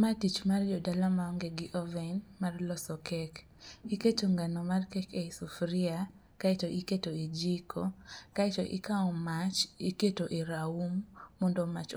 Ma tich mar jodala maonge gi oven mar loso kek. Iketo ngano mar kek e i sufuria kaeto iketo i jiko kaeto ikawo mach iketo e raum mondo mach